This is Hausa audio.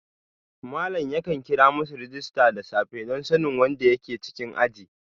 Malam yakan kira masu rajista da safe don sanin wanda ke cikin aji